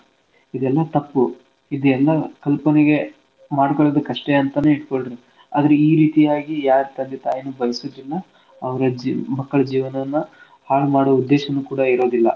ಇದೆಲ್ಲಾ ತಪ್ಪು ಇದೆಲ್ಲಾ ಕಲ್ಪನೆಗೆ ಮಾಡ್ಕೊಳೊದುಕ್ ಅಷ್ಟೆ ಅಂತನೆ ಇಟ್ಕೊಳ್ರಿ. ಆದ್ರ ಈ ರೀತಿಯಾಗಿ ಯಾರ್ ತಂದೆ ತಾಯಿನೂ ಬಯ್ಸೋದಿಲ್ಲಾ ಅವ್ರ ಜಿ ಮಕ್ಕಳ್ ಜೀವ್ನವನ್ನ ಹಾಳ್ ಮಾಡೋ ಉದ್ದೇಶನೂ ಕೂಡ ಇರೋದಿಲ್ಲ.